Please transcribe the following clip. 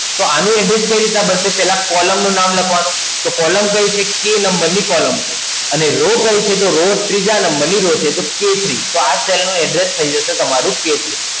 તો આનું Address કઈ રીતના બનશે? કે પહેલા Column નું નામ લખવાનું, કે column કઈ છે? K number ની Column છે. અને Raw કઈ છે? ત્રીજા number ની Raw છે, તો K ત્રણ તો આ Cell નું Address થઈ જશે તમારું K ત્રણ